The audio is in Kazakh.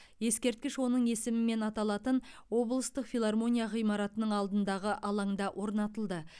ескерткіш оның есімімен аталатын облыстық филармония ғимаратының алдындағы алаңда орнатылды